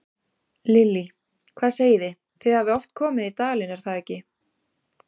Lillý: Hvað segið þið, þið hafið oft komið í dalinn, er það ekki?